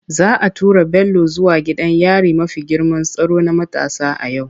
Za a tura Bello zuwa gidan yari mafi girman tsaro na matasa a yau.